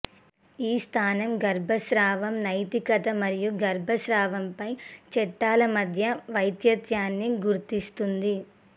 ఈ స్థానం గర్భస్రావం నైతికత మరియు గర్భస్రావంపై చట్టాల మధ్య వ్యత్యాసాన్ని గుర్తిస్తుంది